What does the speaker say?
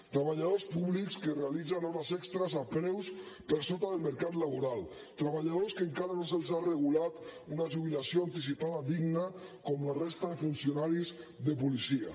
treballadors públics que realitzen hores extres a preus per sota del mercat laboral treballadors que encara no se’ls ha regulat una jubilació anticipada digna com a la resta de funcionaris de policia